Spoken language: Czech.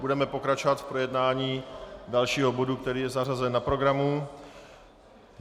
Budeme pokračovat v projednání dalšího bodu, který je zařazen na programu.